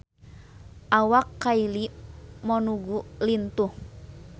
Awak Kylie Minogue lintuh